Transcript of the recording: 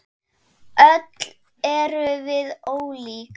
Öll erum við ólík.